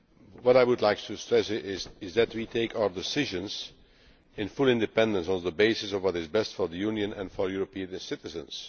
What I would like to stress is that we take our decisions in full independence on the basis of what is best for the Union and for European citizens.